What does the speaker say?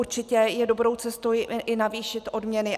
Určitě je dobrou cestou i navýšit odměny.